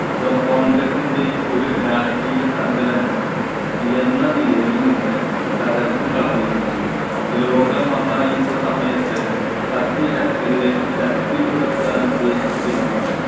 കോൺഗ്രെസ്സിൻ്റെ ഒരു രാഷ്ട്രീയ സംഘടന എന്ന നിലയിൽ നിന്ന് തകർത്തു കളഞ്ഞിരുന്നു. ലോക മഹായുദ്ധ സമയത്ത് സഖ്യശക്തിശക്തിപ്പെടുത്താന്‍ ഉദ്ദേശിച്ചിരുന്ന